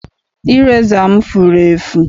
Ireza m furu efu.